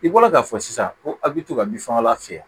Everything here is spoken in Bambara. I bɔra k'a fɔ sisan ko a bɛ to ka bin fagalan fiyɛ